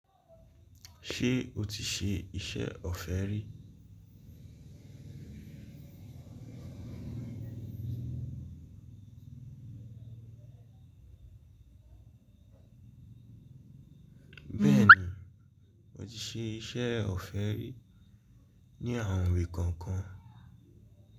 Ṣé o ti ṣe iṣẹ́ ọ̀fẹ́ rí? Bẹ́ẹ̀ni, mo ti ṣe iṣẹ́ ọ̀fẹ́ rí ní àwọn ìwé kọ̀ọ̀kan.